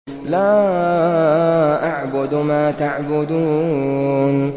لَا أَعْبُدُ مَا تَعْبُدُونَ